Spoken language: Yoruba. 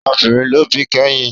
Ọmọ obìnrin ló bí kẹ́yìn